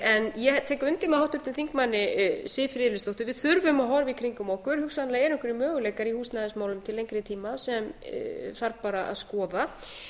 en ég tek undir með háttvirtur þingmaður siv friðleifsdóttur við þurfum að horfa í kringum okkur hugsanlega eru einhverjir möguleikar í húsnæðismálum til lengri tíma sem þarf bara að skoða